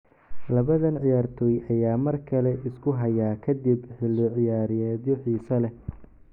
Labadan ciyaartoy ayaa mar kale isku haya kadib xilli ciyaareedyo xiiso leh.